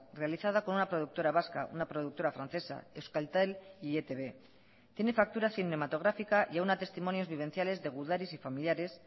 realizada con una productora vasca una productora francesa euskaltel y etb tiene factura cinematográfica y aúna testimonios vivenciales de gudaris y familiares